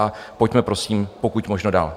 A pojďme prosím pokud možno dál.